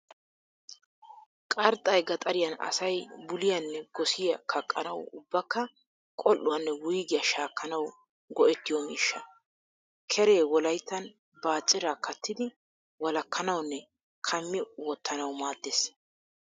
Qarxxay gaxariyan asay buliyaanne gosiya kaqqanawu ubbakka qol'uwaanne wuyigiya shaakkanawu go'ettiyo miishsha. Keree wolayittan baacciraa kaattidi walakkanawunne kammi wottanawu maaddes.